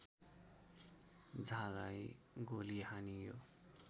झालाई गोली हानियो